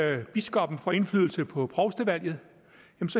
at biskoppen får indflydelse på provstevalget